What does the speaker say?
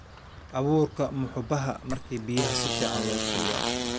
awurka muhubaha marki biyaha suficn losio